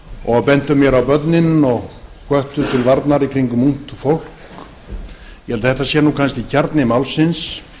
og bentu mér á börnin og hvöttu til varnar í kringum ungt fólk ég held að þetta sé nú kannski kjarni málsins